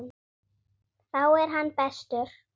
Það geti bitnað á ræktun.